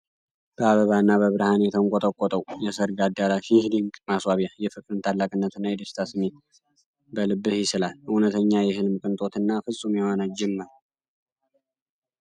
በአበባና በብርሃን የተንቆጠቆጠው የሰርግ አዳራሽ! ይህ ድንቅ ማስዋቢያ የፍቅርን ታላቅነትና የደስታን ስሜት በልብህ ይስላል። እውነተኛ የሕልም ቅንጦትና ፍጹም የሆነ ጅምር!